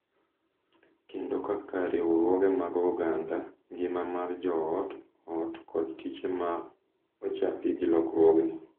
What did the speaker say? Kendo kaka riwruoge mag oganda, ngima mar jo ot, ot, kod tije ma ochapi gi lokruogni.